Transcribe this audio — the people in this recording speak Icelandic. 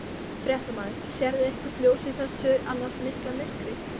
Fréttamaður: Sérðu eitthvert ljós í þessu annars mikla myrkri?